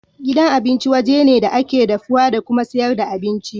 Gidan abinci waje ne da ake dafuwa da kuma sayar da abinci.